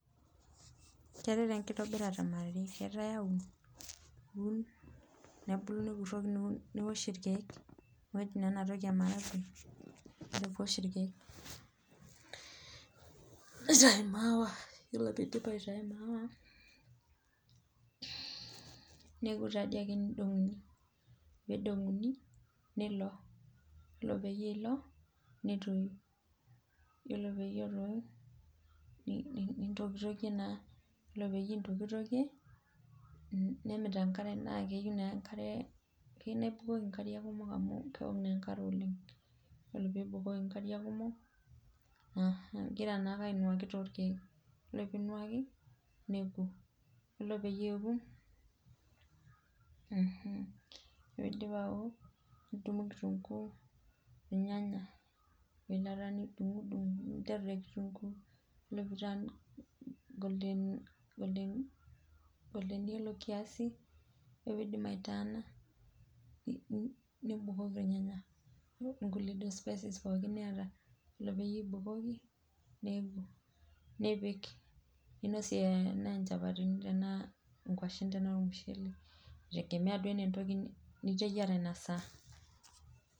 Keetae taa enkitobirata mara are, keetae aun, nebulu nikuroki niosh irkeek, ore pee iosh ilkeek nitayu imaawa, ore pee eitayu maawa, neku taa dii ake nidonguni, ore pee idonguni, nilo, ore peyie ilo, netoyu, iyiolo peyie etotu, nintokitokie naa, iyiolo peyie intokitokie nemit enkare naa keyieu naa enkare, keyieu naa ibukoki nkariak kumok amu keok naa enkare oleng. Ore pee ibukoki nkariak kumok, igira naake ainuaki toorkeek, ore pee inuaki, iyiolo pee eku ore pee idip aku nidumu kitunkuu, irnyanya ore inakata nidungidung, ninteru te kitunkuu ore pee i turn golden yellow kiasi ore pee idip ai turn nibukoki irnyanya, niud inkulie spices pookin niyata ore peyie ibukoki, nipik ninosie nchapatini tenaa nkwashen tenaa ormusheele, kitegemea entoki niteyiara Ina saa .